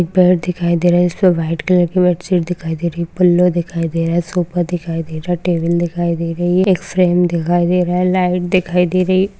Bed दिखाई दे रहा उसपे व्हाइट कलर की बेडशीट दिखाई दे रही पिल्लो दिखाई दे रहा सोफा दिखाई दे रहा टेबल दिखाई दे रही एक फ्रेम दिखाई दे रहा है लाइट दिखाई दे रही है।